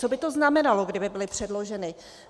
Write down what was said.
Co by to znamenalo, kdyby byly předloženy?